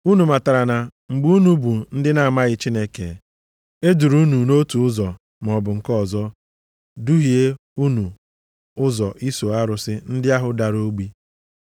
Unu matara na mgbe unu bụ ndị na-amaghị Chineke, e duru unu nʼotu ụzọ maọbụ nke ọzọ, duhie unu ụzọ iso arụsị ndị ahụ dara ogbi.